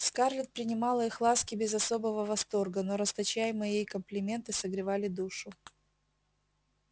скарлетт принимала их ласки без особого восторга но расточаемые ей комплименты согревали душу